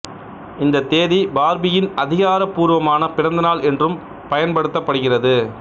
இந்தத் தேதி பார்பியின் அதிகாரப் பூர்வமான பிறந்த நாள் என்றும் பயன்படுத்தப்படுகிறது